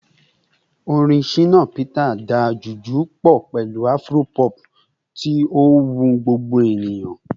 Orin Shina Peters da Juju pọ pẹlu Afro-pop, ti o wu gbogbo eniyan